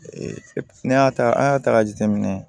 ne y'a ta an y'a ta k'a jateminɛ